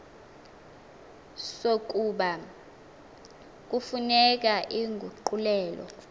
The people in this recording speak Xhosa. sokuba kufuneka inguqulelo